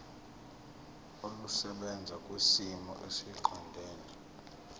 olusebenza kwisimo esiqondena